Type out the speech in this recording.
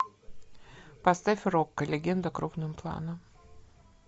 поставь рокко легенда крупным планом